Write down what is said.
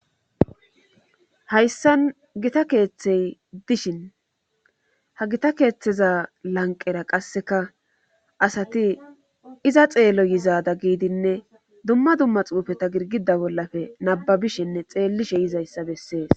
Hayssan gita keeththey dishin ha gita keeththeza lanqera qasseka asati iza xeello yizaada giidinne dumma dumma xuufeta girgida bollafe nababishinne xeellishe yizayssa bessees